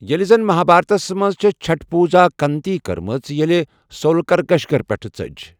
ییٚلہ زن مہابھارتَس منٛز چھےٚ چھٹھ پوٗزا کنتی کٔرمٕژ ییٚلہ صۄ لکشگرِہ پیٛٹھٕ ژٔج۔